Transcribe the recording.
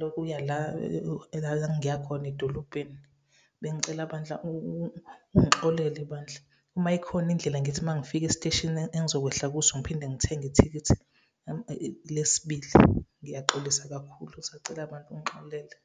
lokuya la la ngiya khona edolobheni. Bengicela bandla ungixolele bandla, uma ikhona indlela ngithi uma ngifika esiteshini engizokwehla kuso ngiphinde ngithenge ithikithi lesibili. Ngiyaxolisa kakhulu, ngisacela bandla ungixolele.